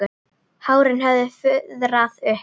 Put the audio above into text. Hárin höfðu fuðrað upp.